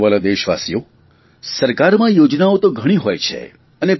મારા વ્હાલા દેશવાસીઓ સરકારમાં યોજનાઓ તો ઘણી હોય છે